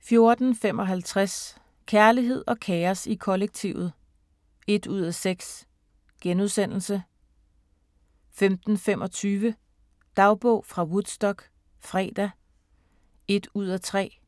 14:55: Kærlighed og kaos i kollektivet (1:6)* 15:25: Dagbog fra Woodstock - fredag (1:3)*